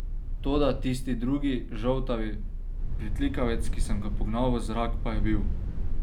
Toda tisti drugi, žoltavi pritlikavec, ki sem ga pognal v zrak, pa je bil.